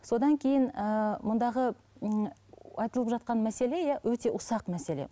содан кейін ііі мұндағы ммм айтылып жатқан мәселе иә өте ұсақ мәселе